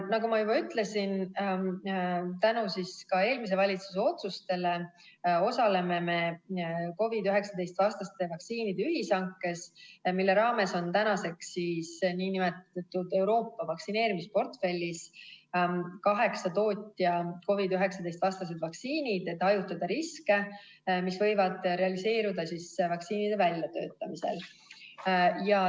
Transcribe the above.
" Nagu ma juba ütlesin, siis tänu ka eelmise valitsuse otsustele osaleme me COVID-19 vastaste vaktsiinide ühishankes, mille raames on tänaseks nn Euroopa vaktsineerimisportfellis kaheksa tootja COVID-19 vastased vaktsiinid, et hajutada riske, mis võivad realiseeruda vaktsiinide väljatöötamisel.